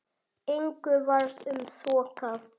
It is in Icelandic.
Engu varð um þokað.